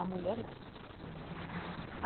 A mulher não.